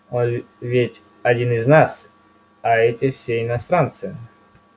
он ведь один из нас а эти все иностранцы